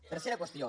tercera qüestió